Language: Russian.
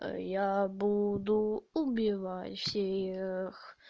а я буду убивать всех